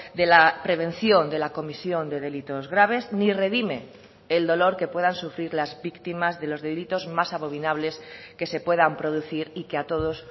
de la prevención de la comisión de delitos graves ni redime el dolor que puedan sufrir las víctimas de los delitos más abominables que se puedan producir y que a todos